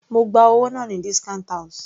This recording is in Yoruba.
Mo gba owó náà ní discount house.